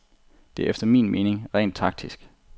Det er efter min mening rent taktisk.